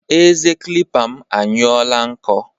Eze kilipa m anyụọọla nkọ.